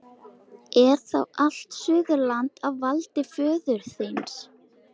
Er þá allt Suðurland á valdi föður þíns?